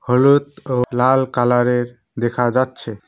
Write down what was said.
হলুদ ও লাল কালারের দেখা যাচ্ছে।